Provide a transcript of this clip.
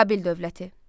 Babil dövləti.